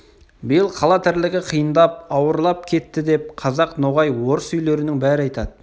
биыл қала тірлігі қиындап ауырлап кетті деп қазақ ноғай орыс үйлерінің бәрі айтады